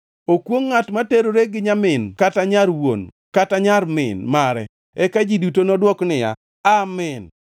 “Okwongʼ ngʼat ma terore gi nyamin kata nyar wuon kata nyar min mare.” Eka ji duto nodwok niya, “Amin!”